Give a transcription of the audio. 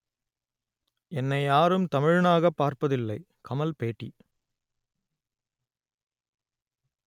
என்னை யாரும் தமிழனாகப் பார்ப்பதில்லை கமல் பேட்டி